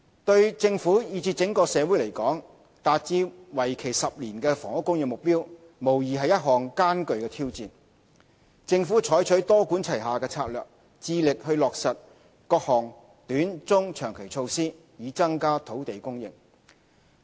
對政府以至整個社會來說，要達致為期10年的房屋供應目標，無疑是一項艱巨的挑戰。政府採取多管齊下的策略，致力落實各項短、中、長期措施，以增加土地供應。